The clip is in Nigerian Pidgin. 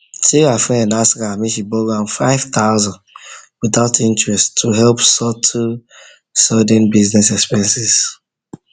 sarah friend ask her make she borrow am five thousand without interest to help settle sudden business expenses